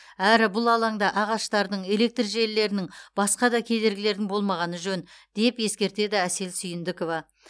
әрі бұл алаңда ағаштардың электр желілерінің басқа да кедергілердің болмағаны жөн деп ескертеді әсел сүйіндікова